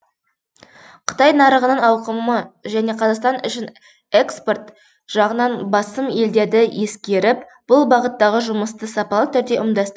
қытай нарығының ауқымы және қазақстан үшін экспорт жағынан басым елдерді ескеріп бұл бағыттағы жұмысты сапалы түрде ұйымдастыру